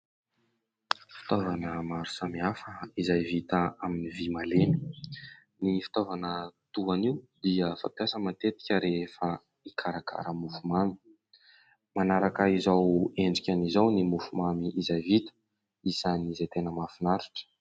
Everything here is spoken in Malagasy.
Fitaovana maro samihafa izay vita amin'ny vy malemy. Ny fitaovana toa an'io dia fampiasa matetika rehefa hikarakara mofo mamy, manaraka izao endriny izao ny mofo mamy izay vita isan'izay tena mafinaritra.